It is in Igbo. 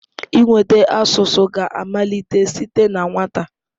Ịnweta asụsụ ga-amalite site na nwata.